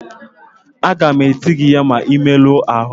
Aga m eti gị ihe ma ị merụọ ahụ